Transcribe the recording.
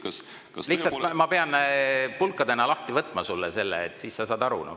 Ma pean lihtsalt selle sulle pulkadeks lahti võtma, siis sa saad aru.